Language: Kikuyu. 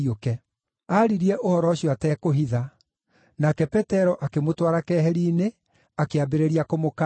Aaririe ũhoro ũcio atekũhitha, nake Petero akĩmũtwara keheri-inĩ, akĩambĩrĩria kũmũkaania.